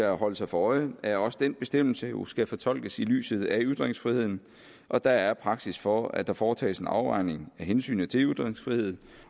at holde sig for øje at også den bestemmelse jo skal fortolkes i lyset af ytringsfriheden og der er praksis for at der foretages en afvejning af hensynet til ytringsfriheden